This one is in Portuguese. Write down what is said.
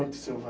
Foi muito selva